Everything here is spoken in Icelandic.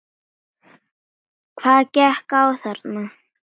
Hvað gekk á þarna?